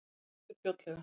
Ég sný aftur fljótlega.